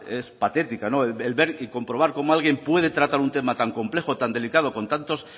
es patética el ver y comprobar cómo alguien puede tratar un tema tan complejo tan delicado con tanto